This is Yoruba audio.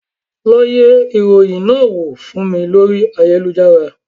Lọ yẹ ìròyìn náà wò fún mi lórí ayélujára